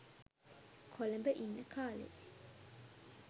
කොළඹ ඉන්න කාලෙ.